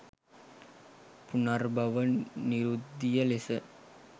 පුනර්භව නිරුද්ධිය ලෙස